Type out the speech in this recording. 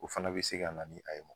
O fɛnɛ be se ka na ni a ye ma